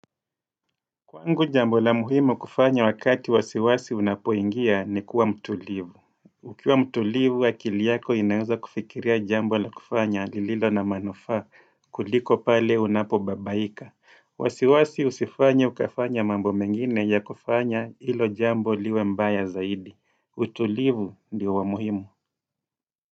Kwangu jambo la muhimu kufanya wakati wasiwasi unapoingia ni kuwa mtulivu. Ukiwa mtulivu, akili yako inaweza kufikiria jambo la kufanya lililo na manufaa kuliko pale unapobabaika. Wasiwasi husifanye ukafanya mambo mengine ya kufanya ilo jambo liwe mbaya zaidi. Utulivu ndio wa muhimu.